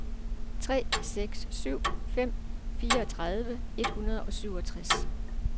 tre seks syv fem fireogtredive et hundrede og syvogtres